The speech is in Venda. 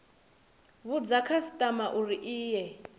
vhudza khasitama uri i ye